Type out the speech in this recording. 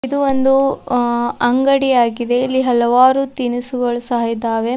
ಇದು ಒಂದು ಆ ಅಂಗಡಿಯಾಗಿದೆ ಇಲ್ಲಿ ಹಲವಾರು ತಿನಿಸುಗಳು ಸಹ ಇದ್ದಾವೆ.